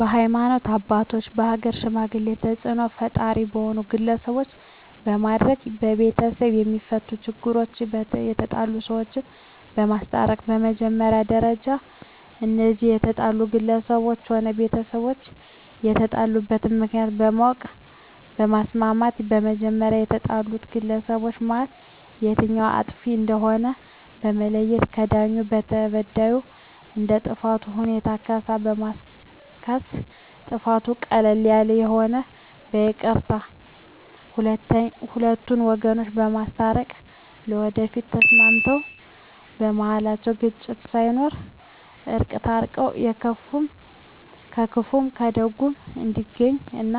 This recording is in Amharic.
በሀይማኖት አባቶች በሀገር ሽማግሌ ተፅእኖ ፈጣሪ በሆኑ ግለሰቦች በማድረግ በቤተሰብ የማፈቱ ችግሮች የተጣሉ ሰዎችን በማስታረቅ በመጀመሪያ ደረጃ እነዚያ የተጣሉ ግለሰቦችም ሆነ ጎረቤቶች የተጣሉበትን ምክንያት በማወቅ በማስማማት በመጀመሪያ ከተጣሉት ግለሰቦች መሀል የትኛዉ አጥፊ እንደሆነ በመለየት በዳዩ ለተበዳዩ እንደ ጥፋቱ ሁኔታ ካሳ በማስካስ ጥፋቱ ቀለል ያለ ከሆነ በይቅርታ ሁለቱን ወገኖች በማስታረቅ ለወደፊቱ ተስማምተዉ በመሀላቸዉ ግጭት ሳይኖር በእርቅ ታርቀዉ በክፉም በደጉም እንዲገናኙ እና